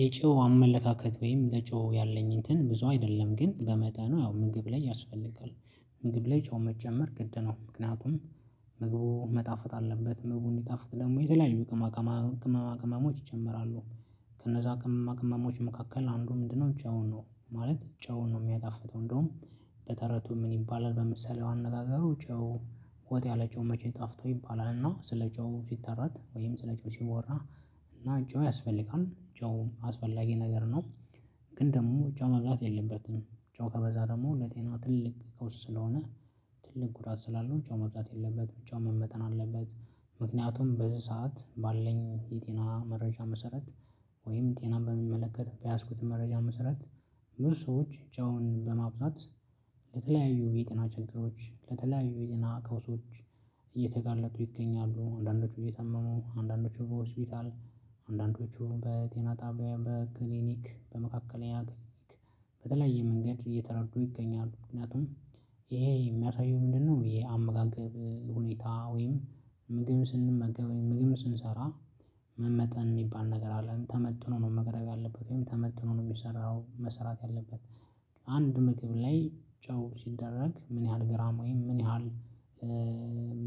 የጨው አመለካከት ወይም ለጨው ያለኝ እንትን ብዙ አይደለም ግን በመጠኑ ያው ምግብ ላይ ያስፈልጋል። ምግብ ላይ ጨው መጨመር ግድነው ምክንያቱም ምግቡ መጣፍጥ አለበት ምግቡ እንዲጣፍጥ ደግሞ የተለያዩ ቅመማ ቅመሞች ይጨምራሉ ከነዛ ቅመማ ቅመሞች መካከል አንዱ ምንድነው ጨው ነው። ማለት ጨውን ነው የሚያጣፍጠው። እንደውም በተረቱ ምን ይባላል? በምሳሌያዊ አነጋገሩ ጨው ወጥ ያለ ጨው መቼ ጣፍጦ ይባላልና ስለ ጨው ሲተረት ወይም ስለ ጨው ሲወራ እና ጨው ያስፈልጋል ጨው አስፈላጊ ነገር ነው። ግን ደግሞ ጨው መብዛት የለበትም ጨው ከበዛ ደግሞ ለጤና ትልቅ ቀውስ ስለሆነ። ትልቅ ጉዳት ስላለው ጨው መብዛት የለበትም ጨው መመጠን አለበትም። ምክንያቱም በዚህ ሰዓት ባለኝ የጤና መረጃ መሰረት ወይም ጤና በሚመለከት በያዝኩት መረጃ መሰረት። ብዙ ሰዎች ጨውን በማብዛት ለተለያዩ የጤና ችግሮች ለተለያዩ የጤና ቀውሶች እየተጋለጡ ይገኛሉ። አንዳንዶቹ እየታመሙ አንዳንዶቹ በሆስፒታል አንዳንዶቹ በጤና ጣቢያ በክሊኒክ በመካከለኛ ክሊኒክ በተለያየ መንገድ እየተረዱ ይገኛሉ። ምክንያቱም ይሄ የሚያሳየው ምንድነው? የ አመጋገብ ሁኔታ ወይም ምግብ ስንመገብ ምግብ ስንሰራ መመጠን የሚባል ነገር አለ ተመጥኖ ነው መቅረብ ያለበት ወይም ተመጥኖ ነው የሚሰራው መሰራት ያለበት። አንድ ምግብ ላይ ጨው ሲደረግ ምን ያህል ግራም ወይም ምን ያህል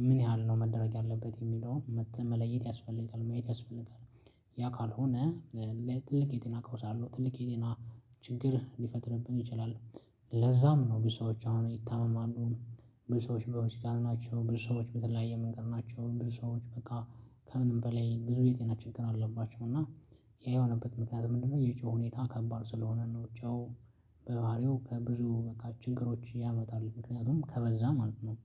ምን ያህል ነው መደረግ ያለበት የሚለው መለየት ያስፈልጋል ማየት ያስፈልጋል። ያ ካልሆነ ለትልቅ የጤና ቀውስ አለው ትልቅ የጤና ችግር ሊፈጥርብን ይችላል። ለዛም ነው ብዙ ሰዎች አሁን ይታመማሉ። ብዙ ሰዎች በሆስፒታል ናቸው ብዙ ሰዎች በተለያየ መንገድ ናቸው ብዙ ሰዎች በቃ ከምንም በላይ ብዙ የጤና ችግር አለባቸው። እና ይሄ የሆነበት ምክንያት ምንድነው የጨው ሁኔታ ከባድ ስለሆነ ነው። ጨው በባህሪው ከብዙ በቃ ችግሮች ያመጣል ምክንያቱም ከበዛ ማለት ነው።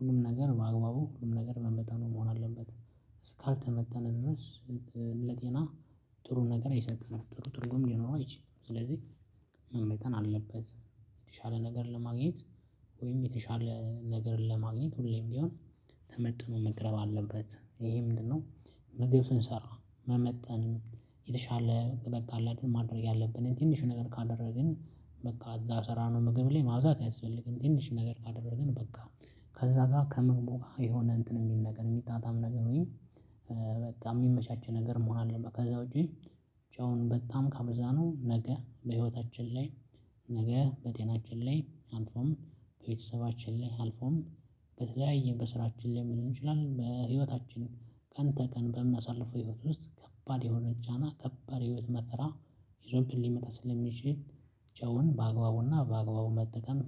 ሁሉም ነገር በአግባቡ ሁሉም ነገር በመጠኑ መሆን አለበት። እስካልተመጠነ ድረስ ለጤና ጥሩ ነገር አይሰጥም ጥሩ ትርጉም ሊኖረው አይችልም። ስለዚህ መመጠን አለበት። የተሻለ ነገር ለማግኘት ወይም የተሻለ ነገር ለማግኘት ሁሌም ቢሆን ተመጥኖ መቅረብ አለበት። ይሄ ምንድነው? ምግብ ስንሰራ መመጠን የተሻለ በቃ አለ አይደል ማድረግ ያለብንን ትንሹን ነገር ካደረግን በቃ እዛ ስራ ነው ምግብ ላይ ማብዛት አያስፈልግም። ትንሽ ነገር ካደረግን በቃ ከዛ ጋር ከምግቡ ጋር የሆነ እንትን የሚል ነገር የሚጣጣም ነገር ወይ በቃ የሚመቻች ነገር መሆን አለበት። ከዛ ውጪ ጨውን በጣም ካበዛነው ነገ በህይወታችን ላይ ነገ በጤናችን ላይ አልፎም ቤተሰባችን ላይ አልፎም በተለያየ በስራችን ላይም ሊሆን ይችላል። በህይወታችን ቀን ተቀን በምናሳልፈው ህይወት ውስጥ ከባድ የሆነ ጫና ከባድ ህይወት መቅራ ይዞብን ሊመጣ ስለሚችል። ጨውን በአግባቡና በአግባቡ መጠቀም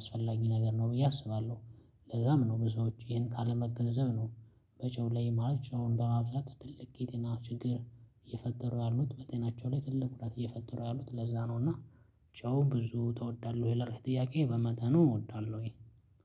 አስፈላጊ ነገር ነው ብዬ አስባለሁ። ለዛም ነው ብዙዎች ይሄን ካለመገንዘብ ነው። በጨው ላይ ማለት ጨውን በማብዛት ትልቅ የጤና ችግር እየፈጠሩ ያሉት በጤናቸው ላይ ትልቅ ጉዳት እየፈጠሩ ያሉት ለዛ ነው። እና ጨው ብዙ ትወዳለህ ወይ? ይላል ጥያቄ በመጠኑ እወዳለሁኝ።